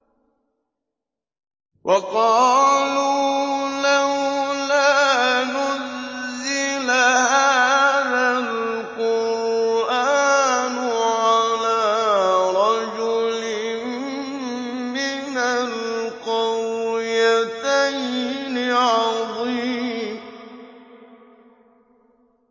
وَقَالُوا لَوْلَا نُزِّلَ هَٰذَا الْقُرْآنُ عَلَىٰ رَجُلٍ مِّنَ الْقَرْيَتَيْنِ عَظِيمٍ